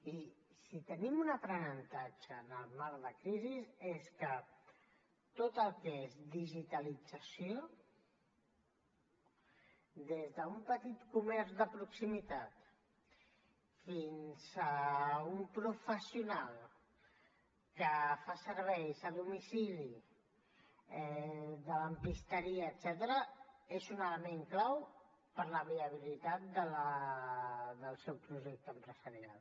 i si tenim un aprenentatge en el marc de crisi és que tot el que és digitalització des d’un petit comerç de proximitat fins a un professional que fa serveis a domicili de lampisteria etcètera és un element clau per a la viabilitat del seu projecte empresarial